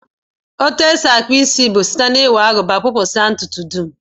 Etu e si akpụ isi bụ site n'iwere Agụba kpụpụsịa ntụtụ dum